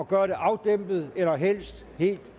gøre det afdæmpet eller helst helt